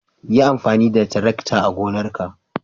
Yi amfani da tarakta a gonarka.